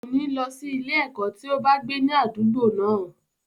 Kòní lọ sí ilé-ẹ̀kọ́ tí ó bá gbé ní àdúgbò náà.